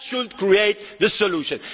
That should create the solution.